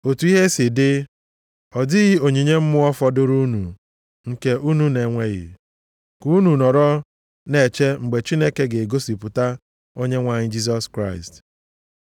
Otu ihe si dị, ọ dịghị onyinye mmụọ fọdụrụ unu nke unu na-enweghị, ka unu nọrọ na-eche mgbe Chineke ga-egosipụta Onyenwe anyị Jisọs Kraịst.